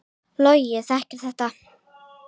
Logi þekkir þetta.